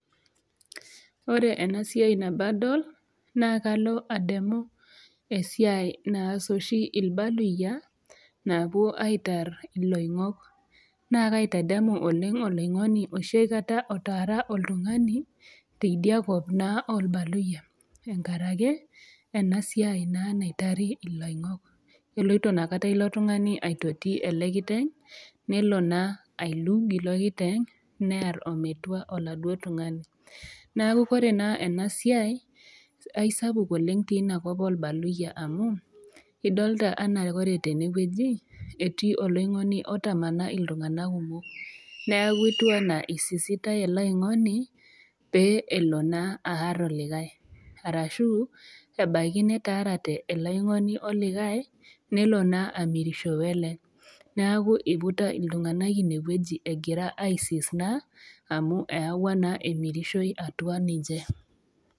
Ore ena siai nabo adol naa kalo ademu esiai naas oshi ilbaluyia naapuo aitar iloing'ok, naa kaitadamu oleng' iloing'oni oshi aikata otaara oltung'ani, teidia kop naa olbaluyia, enkarake ena siai naitari iloing'ok. Eloito Ina kata ilo tung'ani aitoti ilo kiteng', nelo naa ailug ilo kiteng' near ometua oladuo tung'ani, neaku ore naa ena siai aisapuk oleng' teina kop olbaluyia amu, idolita anaa Kore tene wueji, etii oloingoni otamana iltung'ana kumok, neaku etiu anaa eisisitai ele oingoni, pee elo naa aar olikai, arashu ebaiki netaarate, ele aingoni o likai, nelo naa amirishou ele, neaku eiputa iltung'ana ine wueji egira aisis naa amu eyauwa naa emirishoi atua ninche.